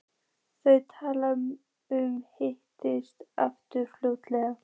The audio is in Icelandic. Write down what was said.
Þau tala um að hittast aftur fljótlega.